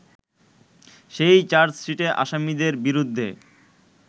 সেই চার্জশিটে আসামীদের বিরুদ্ধে